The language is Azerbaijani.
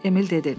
Emil dedi.